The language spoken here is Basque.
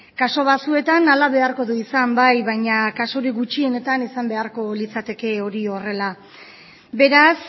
kasu batzuetan hala beharko du izan bai baina kasurik gutxienetan izan beharko litzateke hori horrela beraz